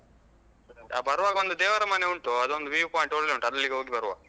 ಬರುವಾಗ ಒಂದು ದೇವರಮನೆ ಉಂಟು ಅದು ಒಂದು view point ಒಳ್ಳೆ ಉಂಟು ಅಲ್ಲಿಗೆ ಹೋಗಿ ಬರುವ.